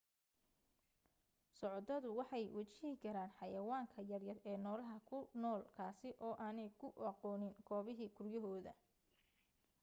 socotadu waxay wajihi karaan xayayaanka yaryar ee noolaha ku dulnool kaasi oo aanay ku aqoonin goobihii guryahooda